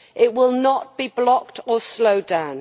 It will not be blocked or slowed down.